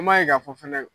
An m'a ye k'a fɔ fɛnɛ